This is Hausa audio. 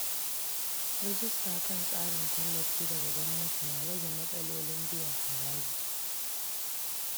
Rijista kan tsarin tallafi daga gwamnati na rage matsalolin biyan haraji.